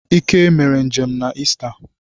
Ike mere njem na Ista